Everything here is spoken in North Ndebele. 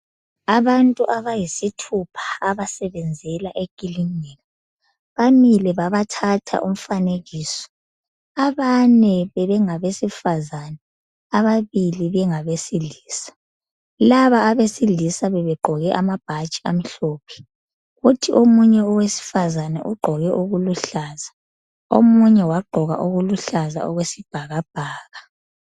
Abantu abayisithupha, abasebenzela ekilinika. Bamile babathatha umfanekiso. Abane bebengabesifazana. Ababili bengabesilisa. Laba abesilisa bebegqoke amabhatshi amhlophe. Kuthi omunye owesifazana ugqoke okuluhlaza. Omunye wagqoka okuluhlaza okwesibhakabhaka.